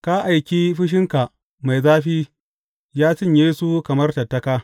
Ka aiki fushinka mai zafi ya cinye su kamar tattaka.